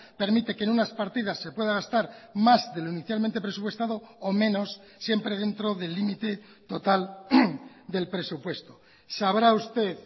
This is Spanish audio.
permite que en unas partidas se pueda gastar más de lo inicialmente presupuestado o menos siempre dentro del límite total del presupuesto sabrá usted